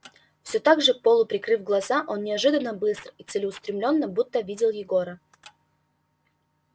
всё так же полуприкрыв глаза он неожиданно быстро и целеустремлённо будто видел егора